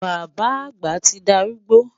Bàbá àgbà ti dárúgbó